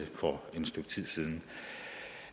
ja